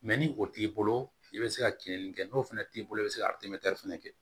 ni o t'i bolo i bɛ se ka kiliniki kɛ n'o fɛnɛ t'i bolo i bɛ se ka fɛnɛ kɛ